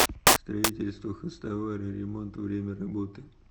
строительство хозтовары ремонт время работы